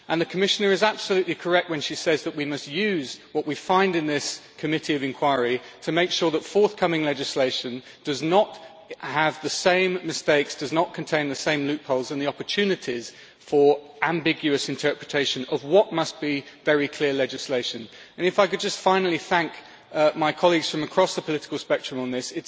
The Commissioner is absolutely correct when she says that we must use what we find out in this committee of inquiry to make sure that forthcoming legislation does not have the same mistakes, and does not contain the same loopholes and opportunities for ambiguous interpretation of what must be very clear rules. Finally, I thank my colleagues from across the political spectrum on this.